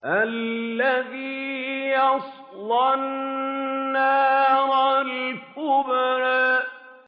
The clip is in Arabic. الَّذِي يَصْلَى النَّارَ الْكُبْرَىٰ